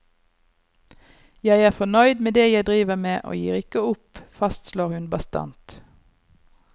Jeg er fornøyd med det jeg driver med, og gir ikke opp, fastslår hun bastant.